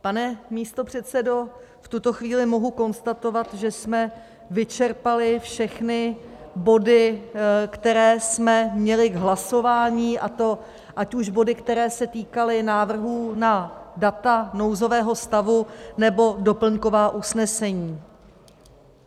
Pane místopředsedo, v tuto chvíli mohu konstatovat, že jsme vyčerpali všechny body, které jsme měli k hlasování, a to ať už body, které se týkaly návrhů na data nouzového stavu, nebo doplňková usnesení.